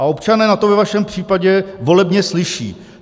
A občané na to ve vašem případě volebně slyší.